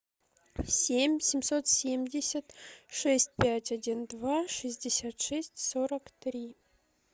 семь семьсот семьдесят шесть пять один два шестьдесят шесть сорок три